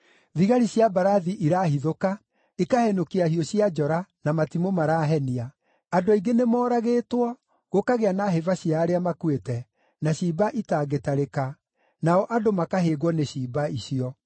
Thigari cia mbarathi irahithũka, ikahenũkia hiũ cia njora na matimũ marahenia! Andũ aingĩ nĩmooragĩtwo, gũkagĩa na hĩba cia arĩa makuĩte, na ciimba itangĩtarĩka, nao andũ makahĩngwo nĩ ciimba icio: